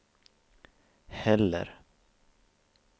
heller